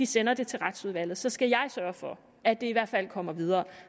sender det til retsudvalget så skal jeg sørge for at det i hvert fald kommer videre og